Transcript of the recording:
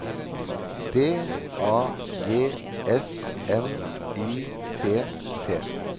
D A G S N Y T T